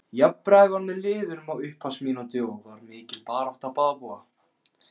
Jafnræði var með liðunum á upphafsmínútunum og var mikil barátta á báða bóga.